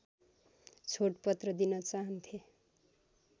छोडपत्र दिन चाहन्थे